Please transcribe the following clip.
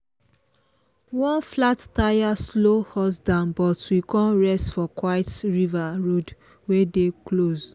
one flat tire slow us down but we con rest for quiet river road wey dey close.